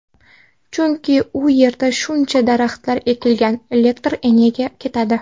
Chunki u yerda shuncha daraxtlar ekilgan, elektr energiya ketadi.